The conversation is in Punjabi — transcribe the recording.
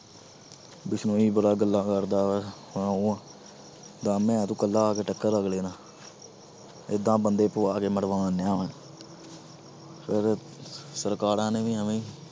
ਬਿਸਨੋਈ ਬੜਾ ਗੱਲਾਂ ਕਰਦਾ ਵਾ ਦਮ ਹੈ ਤੂੰ ਇਕੱਲਾ ਆ ਕੇ ਟੱਕਰ ਅਗਲੇ ਨਾਲ ਏਦਾਂ ਬੰਦੇ ਪਵਾ ਕੇ ਮਰਵਾਉਣ ਡਿਆ ਵਾਂ ਫਿਰ ਸਰਕਾਰਾਂ ਨੇ ਵੀ ਇਵੇਂ ਹੀ